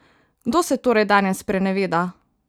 Kdo se torej danes spreneveda?